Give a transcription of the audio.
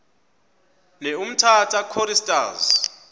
ne umtata choristers